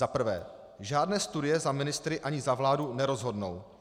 Za prvé, žádné studie za ministry ani za vládu nerozhodnou.